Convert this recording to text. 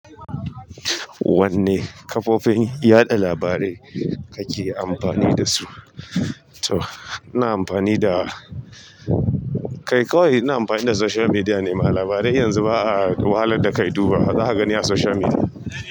Wanne kafofin yaɗa labarai kake amfani da su? To, ina amfani da, kai kawai ina amfani da social media ne, ma labarai yanzu ba a wahalar da ka dubawa, zaka gani a social media.